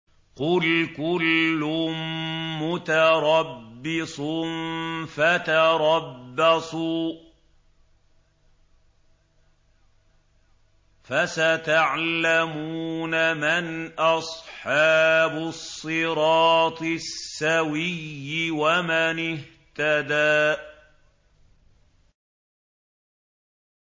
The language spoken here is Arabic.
قُلْ كُلٌّ مُّتَرَبِّصٌ فَتَرَبَّصُوا ۖ فَسَتَعْلَمُونَ مَنْ أَصْحَابُ الصِّرَاطِ السَّوِيِّ وَمَنِ اهْتَدَىٰ